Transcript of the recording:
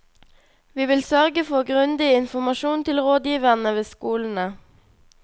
Vi vil sørge for grundig informasjon til rådgiverne ved skolene.